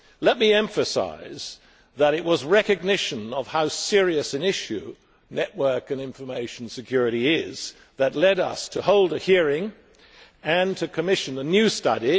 Let me emphasise that it was recognition of how serious an issue network and information security is that led us to hold a hearing and to commission the new study.